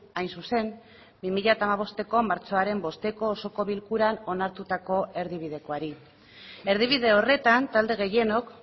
hain zuzen bi mila hamabosteko martxoaren bosteko osoko bilkuran onartutako erdibidekoari erdibide horretan talde gehienok